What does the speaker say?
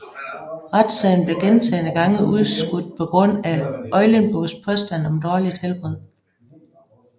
Retssagen blev gentagne gange udskudt på grund af Eulenburgs påstand om dårligt helbred